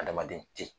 Adamaden te yen